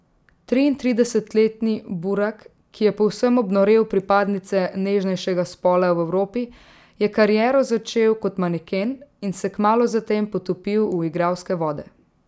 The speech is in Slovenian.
Triintridesetletni Burak, ki je povsem obnorel pripadnice nežnejšega spola v Evropi, je kariero začel kot maneken in se kmalu zatem potopil v igralske vode.